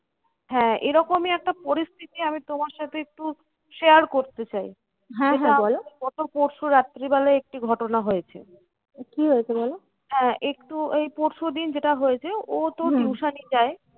হ্যাঁ এরকমই একটা পরিস্থিতি আমি তোমার সাথে একটু share করতে চাই। গত পরশু রাত্রিবেলায় একটি ঘটনা হয়েছে। হ্যাঁ একটু ওই পরশুদিন যেটা হয়েছে ও তো tuition এ যায়,